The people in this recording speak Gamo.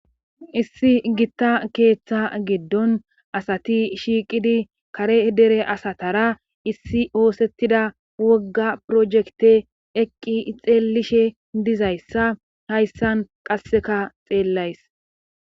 issi gitta keeththa giddon asati shiiqidi kare dere asatara issi oosettida wogga projekte eqqi xeellishe dizayssa hayssan qasseka xeellays